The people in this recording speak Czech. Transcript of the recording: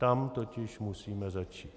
Tam totiž musíme začít.